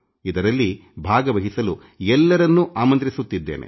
ಇದರಲ್ಲಿ ಭಾಗವಹಿಸಲು ಎಲ್ಲರನ್ನೂ ಆಮಂತ್ರಿಸುತ್ತಿದ್ದೇನೆ